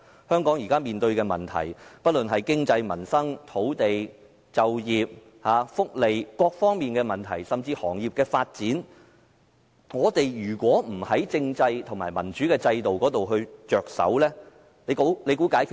香港現時面對不論是經濟、民生、土地、就業、福利等各方面的問題，甚至是行業的發展，如果不從政制及民主制度着手，可以解決嗎？